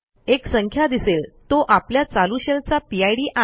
एक संख्या दिसेल तो आपल्या चालू शेल चा पिड आहे